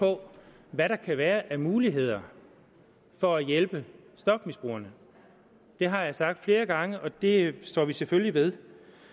på hvad der kan være af muligheder for at hjælpe stofmisbrugerne det har jeg sagt flere gange og det står vi selvfølgelig ved